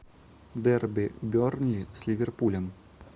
дерби бернли с ливерпулем